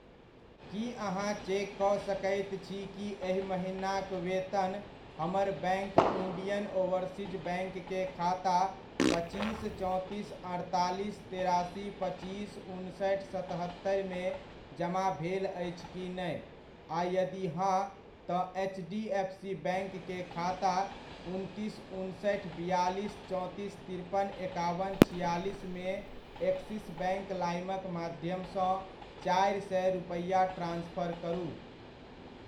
की अहाँ चेक कऽ सकैत छी कि एहि महिनाक वेतन हमर बैङ्क इण्डियन ओवरसीज बैङ्क के खाता पच्चीस चौंतीस अड़तालीस तेरासी पच्चीस उनसठि सतहत्तरि मे जमा भेल अछि की नहि, आ यदि हां, तऽ H D F C bank के खाता उनतीस उनसठि बिआलिस चौंतीस तिरपन एकाबन छिआलिस मे एक्सिस बैङ्क लाइमक माध्यमसँ चारि सए रुपैआ ट्रान्सफर करू ?